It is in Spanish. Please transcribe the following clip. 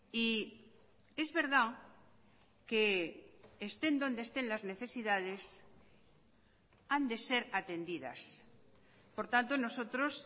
y es verdad que estén donde estén las necesidades han de ser atendidas por tanto nosotros